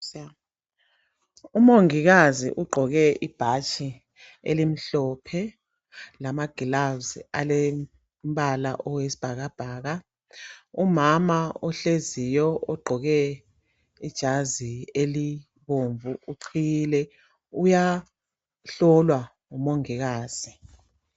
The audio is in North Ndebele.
Umongikazi ugqoke ibhatshi elimhlophe lama gloves alombala oyisibhakabhaka umama ohleziyo ugqoke ijazi elibomvu uqhiyile uyahlolwa ngumongikazi.